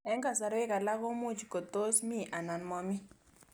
Eng' kasarwek alak komuch kots mi anan mamii